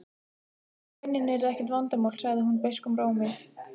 En launin yrðu ekkert vandamál, sagði hún beiskum rómi.